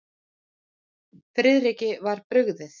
Friðriki var brugðið.